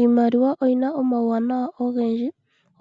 Iimaliwa oyi na omauwanawa ogendji